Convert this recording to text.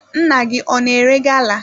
Nna gị ọ na ere gala?